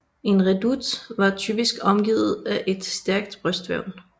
En redoute var typisk omgivet af et stærkt brystværn